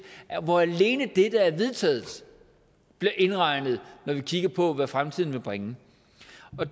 hvor alene det der er vedtaget bliver indregnet når vi kigger på hvad fremtiden vil bringe